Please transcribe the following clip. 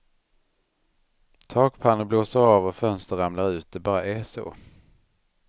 Takpannor blåser av och fönster ramlar ut, det bara är så.